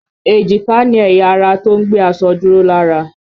Èjìká ni ẹ̀yà ara tó ń gbé aṣọ dúró lára